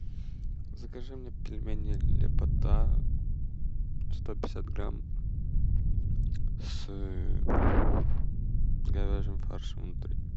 закажи мне пельмени лепота сто пятьдесят грамм с говяжьим фаршем внутри